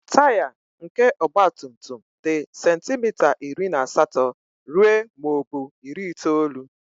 Taya nke ọgba tum tum dị sentimita iri na asatọ ruo muo bu iri itoolu.